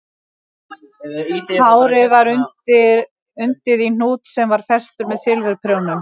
Hárið var undið í hnút sem var festur með silfurprjónum